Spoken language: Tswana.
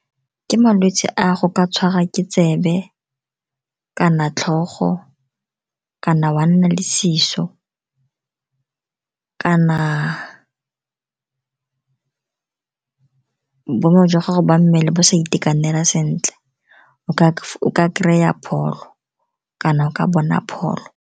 Ke malwetse a go ka tshwara ke tsebe, kana tlhogo, kana wa nna le seso, kana boemo jwa gago jwa mmele bo sa itekanela sentle. O ka kry-a pholo, kana o ka bona pholo.